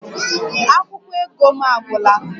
Akwụkwọ ego m agwụla